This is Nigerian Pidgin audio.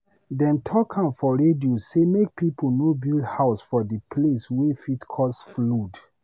Dem talk am for radio say make pipo no dey build house for di place wey fit cause flood.